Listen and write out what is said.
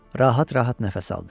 Rahat-rahat nəfəs aldı.